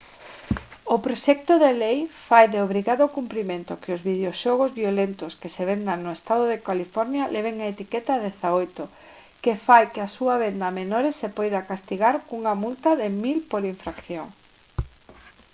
o proxecto de lei fai de obrigado cumprimento que os videoxogos violentos que se vendan no estado de california leven a etiqueta 18 que fai que a súa venda a menores se poida castigar cunha multa de 1000 por infracción